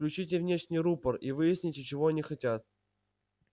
включите внешний рупор и выясните чего они хотят